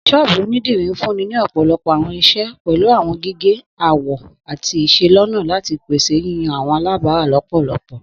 Sọ́ọ́bú onidiri nfunni ni ọpọlọpọ awọn iṣẹ, pẹlu awọn gige, awọ, ati iselona lati pese awọn yiyan awọn alabara lọpọlọpọ.